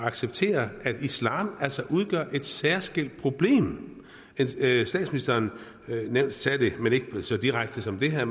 acceptere at islam altså udgør et særskilt problem statsministeren sagde det men ikke så direkte som det her